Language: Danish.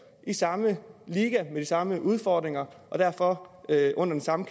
i samme liga med de samme udfordringer og derfor under den samme